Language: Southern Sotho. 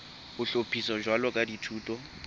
ho hlophiswa jwalo ka dithuto